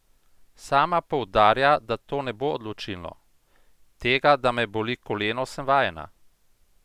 Sama poudarja, da to ne bo odločilno: "Tega, da me boli koleno, sem vajena.